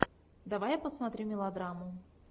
давай я посмотрю мелодраму